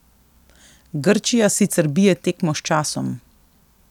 Grčija sicer bije tekmo s časom.